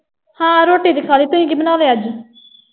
ਹਾਂ ਰੋਟੀ ਤੇ ਖਾ ਲਈ। ਤੁਸੀ ਕੀ ਬਣਾ ਲਿਆ ਅੱਜ?